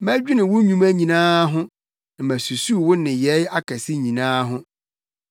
Mɛdwene wo nnwuma nyinaa ho na masusuw wo nneyɛe akɛse nyinaa ho.